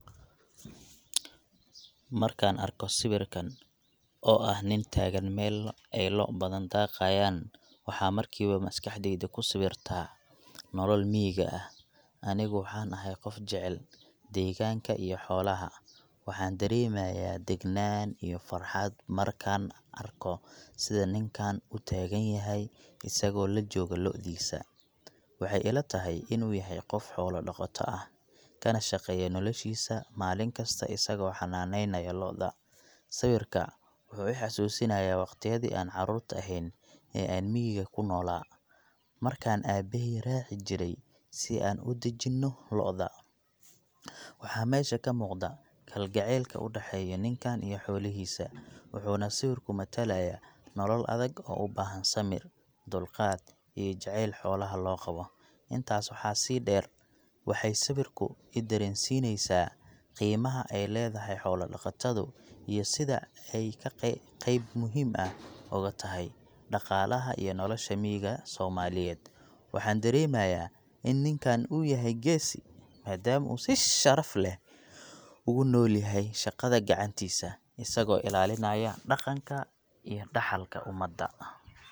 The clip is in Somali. Markaan arko sawirkan oo ah nin taagan meel ay lo' badan daaqayaan, waxaan markiiba maskaxdayda ku sawirtaa nolol miyiga ah. Anigu waxaan ahay qof jecel deegaanka iyo xoolaha, waxaan dareemayaa degganaan iyo farxad markaan arko sida ninkan u taagan yahay isagoo la jooga lo'diisa. Waxay ila tahay inuu yahay qof xoolo dhaqato ah, kana shaqeeya noloshiisa maalin kasta isagoo xanaaneynaya lo'da. Sawirka wuxuu i xasuusinayaa waqtiyadii aan carruurta ahayn ee aan miyiga ku noolaa, markaan aabbahay raaci jiray si aan u daajinno lo'da. Waxaa meesha ka muuqda kalgacaylka u dhexeeya ninkan iyo xoolihiisa, wuxuuna sawirku matalayaa nolol adag oo u baahan samir, dulqaad iyo jacayl xoolaha loo qabo. Intaas waxaa dheer, waxay sawirku i dareensineysaa qiimaha ay leedahay xoolo-dhaqatadu iyo sida ay qeyb muhiim ah uga tahay dhaqaalaha iyo nolosha miyiga Soomaaliyeed. Waxaan dareemayaa in ninkan uu yahay geesi, maadaama uu si sharaf leh ugu nool yahay shaqada gacantiisa, isagoo ilaalinaya dhaqanka iyo dhaxalka ummadda.